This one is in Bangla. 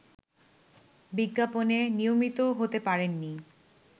বিজ্ঞাপনে নিয়মিত হতে পারেননি